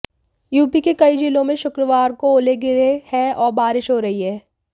UP के कई जिलों में शुक्रवार को ओले गिरे हैं और बारिश हो रही है